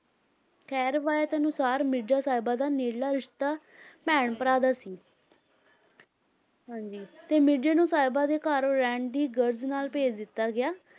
ਖ਼ੈਰ ਰਵਾਇਤ ਅਨੁਸਾਰ ਮਿਰਜ਼ਾ ਸਾਹਿਬਾ ਦਾ ਨੇੜਲਾ ਰਿਸਤਾ ਭੈਣ ਭਰਾ ਦਾ ਸੀ ਹਾਂਜੀ ਤੇ ਮਿਰਜ਼ੇ ਨੂੰ ਸਾਹਿਬਾਂ ਦੇ ਘਰ ਰਹਿਣ ਦੀ ਗ਼ਰਜ਼ ਨਾਲ ਭੇਜ ਦਿੱਤਾ ਗਿਆ